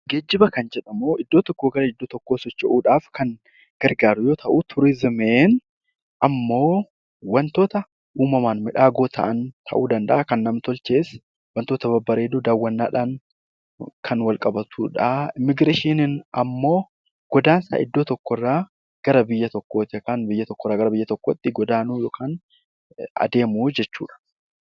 Geejjiba kan jedhamu iddoo tokkoo gara iddoo biraatti socho'uudhaaf kan gargaaru yoo ta'u, turizimiin ammoo wantoota uumamaan badhaadhoo ta'an danda'a kan nam-tolchees wantoota babbareedoo daawwannaadhaan kan wal qabatudha. Immiigireeshiniin immoo godaansa iddoo tokkoo irraa gara biyya tokkootti yookaan biyya tokko irraa biyya biraatti godaanuu yookaan adeemuu jechuudha.